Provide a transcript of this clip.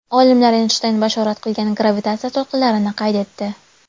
Olimlar Eynshteyn bashorat qilgan gravitatsiya to‘lqinlarini qayd etdi.